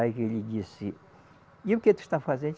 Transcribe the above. Aí ele disse, e o que tu está fazendo?